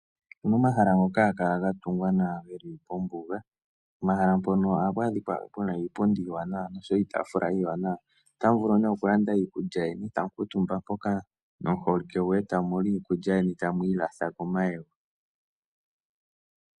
Momahala ngoka haga kala gatungwa nawa geli kombuga. Momahala mpono ohapu adhika pena iipundi niitafula iiwanawa. Otamu vulu nee okulanda iikulya yeni tamu kuutumba mpoka nomuholike goye tamu ilatha komayego.